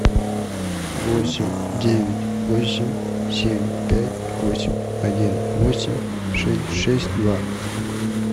восемь девять восемь семь пять восемь один восемь шесть шесть два